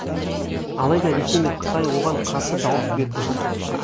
алайда ресей мен қытай оған қарсы дауыс берді